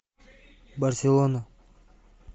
барселона